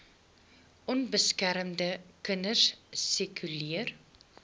onbeskermde kinders sirkuleer